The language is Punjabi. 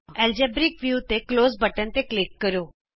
ਐਲਜੇਬਰਿਕ ਵਿਊ ਤੇ ਕੋਲਜ਼ ਬਟਨ ਤੇ ਕਲਿਕ ਕਰੋ